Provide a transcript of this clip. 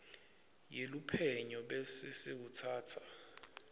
yeluphenyo bese sewutsatsa